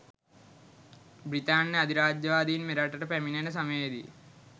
බි්‍රතාන්‍ය අධිරාජ්‍යවාදීන් මෙරටට පැමිණෙන සමයේදී